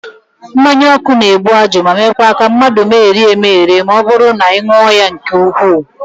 Mmanyaọkụ na-ebu ajụ ma meekwa ka mmadụ megherie emegheri ma ọ bụrụ na ị ṅụọ ya nke ukwuu